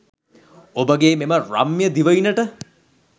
ඔබගේ මෙම රම්‍ය දිවයිනට